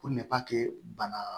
Ko bana